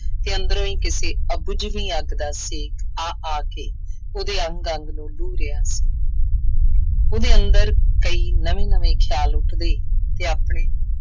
ਕਿ ਅੰਦਰੋਂ ਹੀ ਕਿਸੇ ਅਬੁੱਝਵੀਂ ਅੱਗ ਦਾ ਛੇਕ ਆ ਆ ਕੇ ਉਹਦੇ ਅੰਗ ਅੰਗ ਨੂੰ ਲੂਹ ਰਿਹਾ ਸੀ। ਉਹਦੇ ਅੰਦਰ ਕਈ ਨਵੇਂ-ਨਵੇਂ ਖਿਆਲ ਉੱਠਦੇ ਅਤੇ ਆਪਣੇ